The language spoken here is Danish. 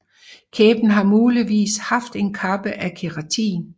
Kæben har muligvis haft en kappe af keratin